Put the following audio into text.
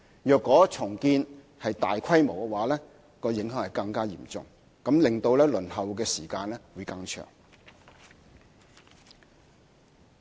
如果屬大規模重建，則影響會更加嚴重，令其他公屋申請者輪候時間更長。